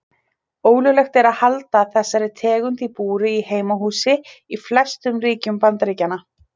Ólöglegt er að halda þessari tegund í búri í heimahúsi í flestum ríkjum Bandaríkjanna.